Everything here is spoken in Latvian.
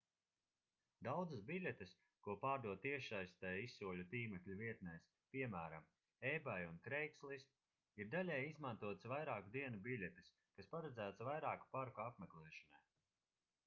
daudzas biļetes ko pārdod tiešsaistē izsoļu tīmekļa vietnēs piemēram ebay un craigslist ir daļēji izmantotas vairāku dienu biļetes kas paredzētas vairāku parku apmeklēšanai